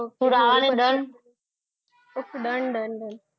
Done done done